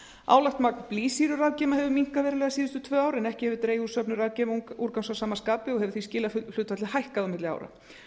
álagt magn blýsýrurafgeyma hefur minnkað verulega síðustu tvö ár en ekki hefur dregið úr söfnun rafgeymaúrgangs að sama skapi og hefur því skilahlutfallið hækkað á milli ára